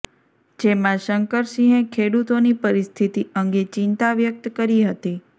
જેમાં શંકરસિંહે ખેડૂતોની પરિસ્થિતિ અંગે ચિંતા વ્યક્ત કરી હતી